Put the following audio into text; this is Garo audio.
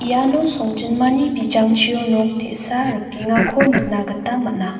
iano songjinmani bijangchio nok te·sa rikengako nikna gita man·a.